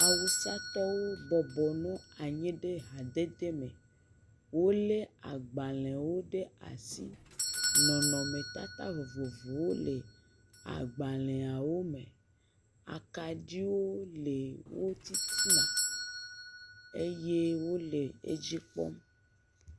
Awusatɔwo bɔbɔ nɔ anyi ɖe hadedeme. Wolé agbalẽwo ɖe asi. Nɔnɔmetata vovovowo le agbalẽawo me. Akɖiwo le wo titina eye wole edzi kpɔm.